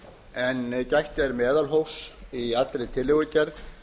en gætt er meðalhófs í allri tillögugerð